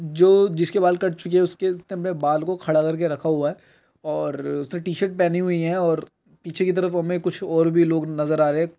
जो जिसके बाल कट चुके है उसके इतने बड़े बाल को खड़ा करके रखा हुआ है और उसने टी-शर्ट पहनी हुई है और पीछे की तरफ हमें कुछ और भी लोग नज़र आ रहे हैं।